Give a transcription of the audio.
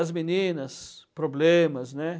As meninas, problemas, né?